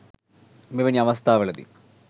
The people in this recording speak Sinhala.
මෙවැනි අවස්ථාවලදී